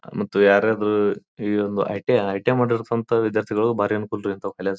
ಮತ್ತು ಯಾರಾದ್ರೂ ಈ ಒಂದು ಐಟೆ ಐಟಂ ಮಾಡಿರ್ತಂತ ವಿದ್ಯಾರ್ಥಿಗಳು ಬಾರಿ ಅನುಕೂಲರೀ ಇಂತವು ಕಲ್ಯಕ.